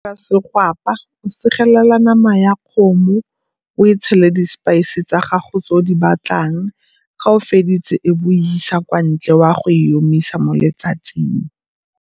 segwapa, segelela nama ya kgomo o e tshele di-spice tsa gago tseo di batlang. Ga o feditse e be o e isa kwa ntle o a go e omisa mo letsatsing.